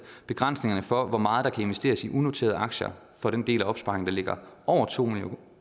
begrænsningerne for hvor meget der kan investeres i unoterede aktier for den del af opsparingen der ligger over to